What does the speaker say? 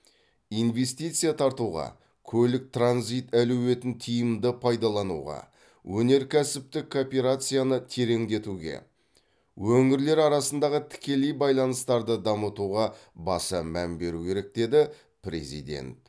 инвестиция тартуға көлік транзит әлеуетін тиімді пайдалануға өнеркәсіптік кооперацияны тереңдетуге өңірлер арасындағы тікелей байланыстарды дамытуға баса мән беру керек деді президент